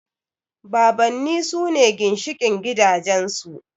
Babanni sune ginshiƙin gidajen su